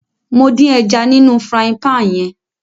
Mo dín ẹja nínú frying pan yẹn